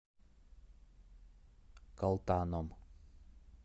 калтаном